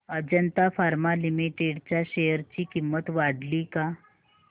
Ajanta pharma limited च्या share ची किंमत वाढली का